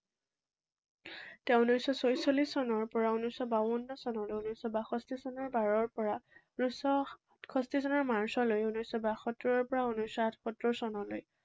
তেঁও ঊনৈশশ ছয়চল্লিশ চনৰ পৰা ঊনৈশশ বাৱন চনলৈ, ঊনৈশশ বাষষ্ঠী চনৰ বাৰৰ পৰা ঊনৈশশ সাতষষ্ঠী চনৰ মাৰ্চলৈ, ঊনৈশশ বাসত্তৰৰ পৰা ঊনৈশশ আঠসত্তৰ চনলৈ